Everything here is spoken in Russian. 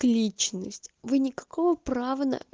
к личность вы никакого права на